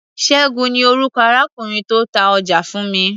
Ṣẹ́gun ni orúkọ arákùnrin tó ta ọjà fún mi.